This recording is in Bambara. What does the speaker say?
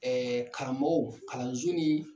karamɔgɔ kalanso ni